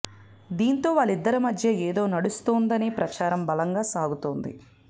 దీంతో వాళ్లిద్దరి మధ్య ఏదో నడుస్తోందనే ప్రచారం బలంగా సాగుతోంది